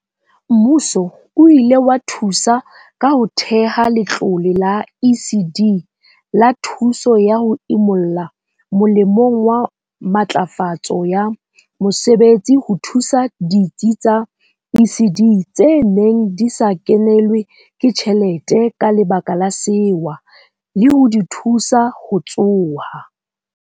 Mmuso o ile wa thusa ka ho theha Letlole la ECD la Thuso ya ho Imolla molemong wa Matlafatso ya Mosebetsi ho thusa ditsi tsa ECD tse neng di sa kenelwe ke tjhelete ka lebaka la sewa, le ho di thusa ho tsoha.